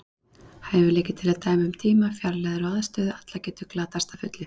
Hæfileiki til að dæma um tíma, fjarlægðir og aðstöðu alla getur glatast að fullu.